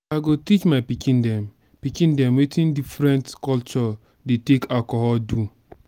i go teach my pikin dem pikin dem wetin different culture dey take alcohol do